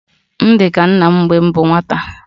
M di ka nna m mgbe m bu nwata